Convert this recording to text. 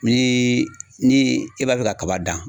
Ni ni e b'a fɛ kaba dan